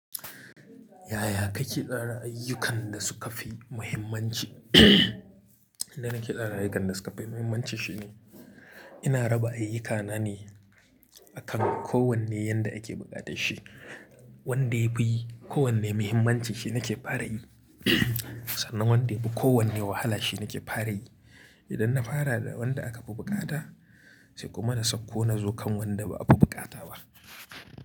Yaya kake tsara ayyukan da suka fi muhimmanci? Inda nake tsara ayyukan da suka fi muhimmanci shine ina raba ayyukana ne akan kowane yanda ake buƙatar shi. Wanda yafi ko wanne muhimmanci shine nake fara yi. Sannan wanda yafi ko wanne wahala shi nake fara yi. Idan na fara da wanda aka fi buƙata sai kuma na sauko na zo kan wanda ba a fi buƙata ba.